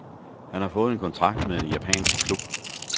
Han har fået en kontrakt med en japansk klub.